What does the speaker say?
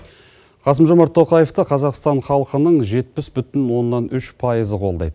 қасым жомарт тоқаевті қазақстан халқының жетпіс бүтін оннан үш пайызы қолдайды